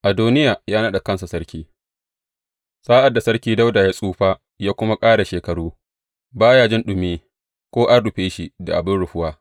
Adoniya ya naɗa kansa Sarki Sa’ad da Sarki Dawuda ya tsufa ya kuma ƙara shekaru, ba ya iya jin ɗumi ko an rufe shi da abin rufuwa.